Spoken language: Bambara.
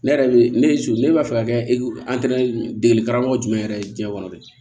Ne yɛrɛ ne su ne b'a fɛ ka kɛ degeli karamɔgɔ jumɛn yɛrɛ ye diɲɛ kɔnɔ dɛ